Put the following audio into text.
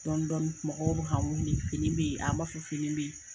Dɔɔni dɔɔni mɔgɔw bɛ ka wele fini bɛ yen, a b'a fɔ fini bɛ yen.